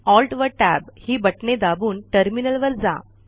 Alt व Tab ही बटणे दाबून टर्मिनल वर जा